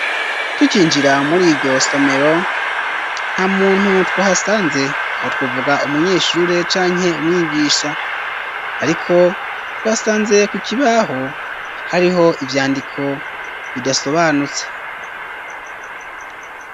Tukinjira mur'iryo somero nta muntu twahasanze, aho twuvuga umunyeshure canke umwigisha ,ariko twasanze ku kibaho hariho ivyandiko bidasobanutse.